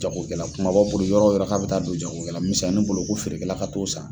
Jagokɛla kumaba bolo yɔrɔ o yɔrɔ k'a bɛ taa don jagokɛla misɛnnin bolo ko feerekɛla ka t'o san.